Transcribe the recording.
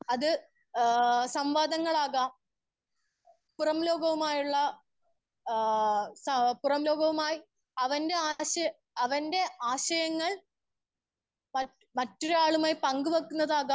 Speaker 1 അത് ആ സംവാദങ്ങൾ ആകാം പുറം ലോകവുമായുള്ള ആ സാ പുറം ലോകവുമായി അവന്റെ ആശയ അവന്റെ ആശയങ്ങൾ മറ്റു മറ്റൊരാളുമായി പങ്ക് വെക്കുന്നത് ആകാം.